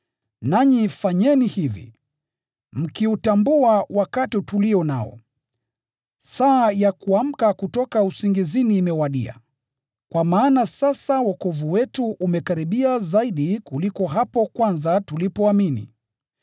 Nanyi fanyeni hivi, mkiutambua wakati tulio nao. Saa ya kuamka kutoka usingizini imewadia, kwa maana sasa wokovu wetu umekaribia zaidi kuliko hapo kwanza tulipoamini.